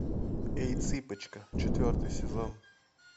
эй цыпочка четвертый сезон